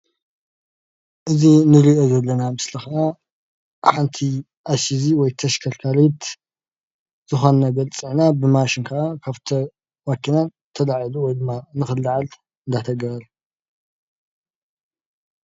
እዚ እንሪኦ ዘለና ምስሊ ከዓ ሓንቲ ኣይስዚ ወይ ተሽከርካሪት ዝኮነ ነገር ፅሕነት ብማሽን ከዓ ካብቲ መኪና ተላዒሉ ወይ ከዓ ንክለዓል እንዳተገበረ